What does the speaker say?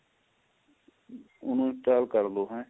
ਉਹਨੂੰ install ਕਰਲੋ ਏਹ